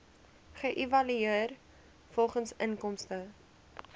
geëvalueer volgens inkomste